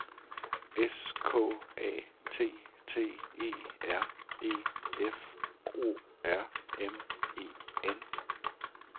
S K A T T E R E F O R M E N